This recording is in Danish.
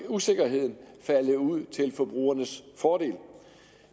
usikkerheden falde ud til forbrugernes fordel